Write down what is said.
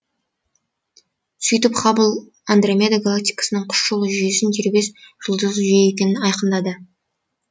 сөйтіп хаббл андромеда галактикасының құс жолы жүйесінен дербес жұлдыздық жүйе екенін айқындады